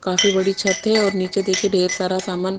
काफी बड़ी छत है निचे देखिये ढेर सारा सामान--